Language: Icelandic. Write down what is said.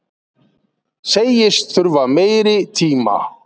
Segist þurfa meiri tíma